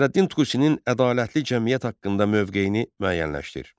Nəsrəddin Tusinin ədalətli cəmiyyət haqqında mövqeyini müəyyənləşdir.